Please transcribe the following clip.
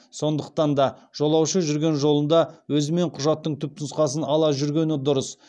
сондықтан да жолаушы жүрген жолында өзімен құжаттың түпнұсқасын ала жүргені дұрыс